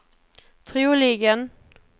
troligen